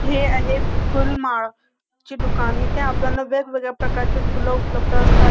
हे आहेत फुलमाळ चे दुकान इथे आपल्याला वेगवेगळ्या प्रकारची फुल उपलब्ध असतात.